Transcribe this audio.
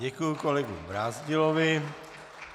Děkuji kolegovi Brázdilovi.